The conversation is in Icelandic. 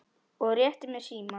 og rétti mér símann.